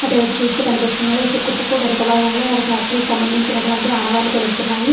అటువైపు చుస్తే కనిపిస్తున్నాడు. ఇసుక కుప్పకు వెనుక భాగంలో ఒక ఫ్యాక్టరీ కి సంబంధినటువంటి ఆనవాళ్లు తెలుస్తున్నాయి.